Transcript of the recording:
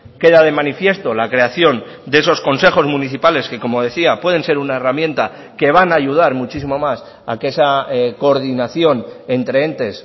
queda de manifiesto la creación de esos consejos municipales que como decía pueden ser una herramienta que van a ayudar muchísimo más a que esa coordinación entre entes